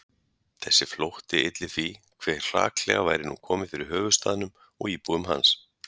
Þessi flótti ylli því, hve hraklega væri nú komið fyrir höfuðstaðnum og íbúum hans